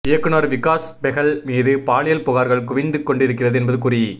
இயக்குனர் விகாஸ் பெஹல் மீது பாலியல் புகார்கள் குவிந்து கொண்டிருக்கிறது என்பது குறி